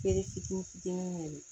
Feere fitini fitini yɛrɛ de